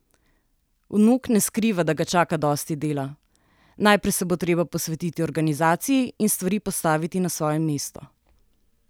Vnuk ne skriva, da ga čaka dosti dela: "Najprej se bo treba posvetiti organizaciji in stvari postaviti na svoje mesto.